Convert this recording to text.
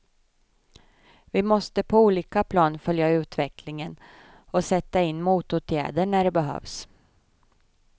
Vi måste på olika plan följa utvecklingen och sätta in motåtgärder när det behövs.